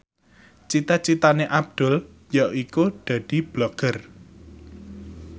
cita citane Abdul yaiku dadi Blogger